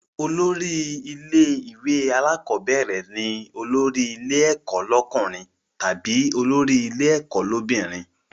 Olórí ilé ìwé alákọ́bẹ̀rẹ̀ ni olórí ilé ẹ̀kọ́ lọ́kùnrin tàbí olórí ilé ẹ̀kọ́ l'óbìnrin